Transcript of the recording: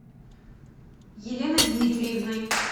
еленой дмитриевной